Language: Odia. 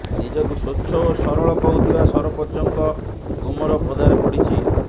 ନିଜକୁ ସ୍ବଛ ଓ ସରଳ କହୁଥିବା ସରପଞ୍ଚଙ୍କ ଗୁମର ପଦାରେ ପଡିଛି